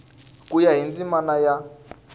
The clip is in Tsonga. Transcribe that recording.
ku ya hi ndzimana ya